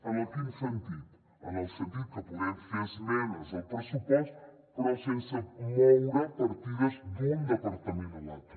en quin sentit en el sentit que podem fer esmenes al pressupost però sense moure partides d’un departament a l’altre